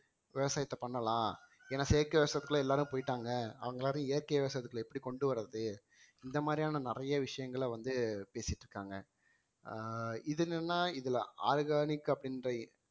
விவசாயத்தை பண்ணலாம் ஏன்னா செயற்கை விவசாயத்துக்குள்ள எல்லாரும் போயிட்டாங்க அவங்களால இயற்கை விவசாயத்துக்குள்ள எப்படி கொண்டு வர்றது இந்த மாதிரியான நிறைய விஷயங்களை வந்து பேசிட்டு இருக்காங்க ஆஹ் இது என்னன்னா இதுல organic அப்படின்ற